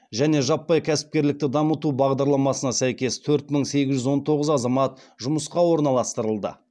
және жаппай кәсіпкерлікті дамыту бағдарламасына сәйкес төрт мың сегіз жүз он тоғыз азамат жұмысқа орналастырылды